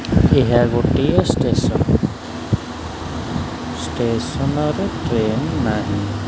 ଏହା ଗୋଟିଏ ଷ୍ଟେସନ ଷ୍ଟେସନରେ ଟ୍ରେନ ନାହିଁ।